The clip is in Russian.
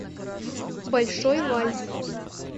большой вальс